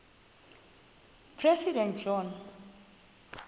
president john